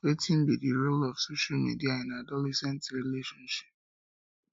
wetin be di role of social media in adolescent relationships